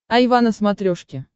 айва на смотрешке